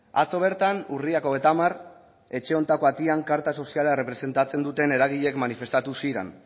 atzo bertan urriak hogeita hamar etxe honetako atean karta soziala errepresentatzen duten eragileek manifestatu ziren